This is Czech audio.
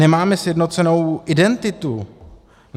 Nemáme sjednocenou identitu.